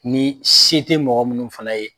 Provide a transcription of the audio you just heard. Ni se te mɔgɔ munnu fana ye